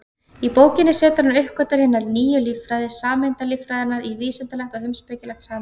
Í bókinni setur hann uppgötvanir hinnar nýju líffræði, sameindalíffræðinnar, í vísindalegt og heimspekilegt samhengi.